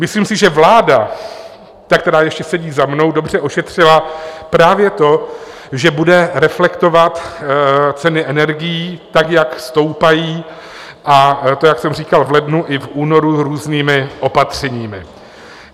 Myslím si, že vláda - ta, která ještě sedí za mnou - dobře ošetřila právě to, že bude reflektovat ceny energií, tak jak stoupají, a to jak jsem říkal, v lednu i v únoru různými opatřeními.